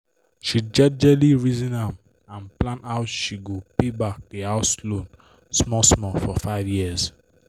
she jejely reason am and plan how she go pay back di house loan small small for 5 yrs